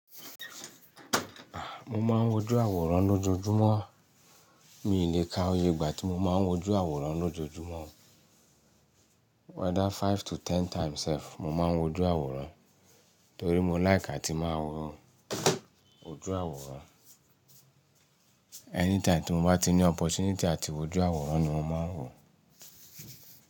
Mo máa ń wojú àwòrán lójoojúmọ́. Mi lè ka oye ìgbà tí mo máa ń wojú àwòrán lójoojúmọ́. Whether five to ten times sef, mo máa ń wojú àwòrán torí mo like àti máa wo ojú àwòrán. Anytime tí mo bá ní opportunity àti wojú àwòrán ni mo máa ń wò ó.